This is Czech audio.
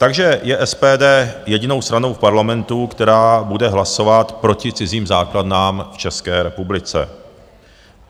Takže je SPD jedinou stranou v Parlamentu, která bude hlasovat proti cizím základnám v České republice.